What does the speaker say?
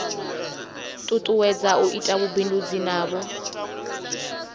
tutuwedza u ita vhubindudzi navho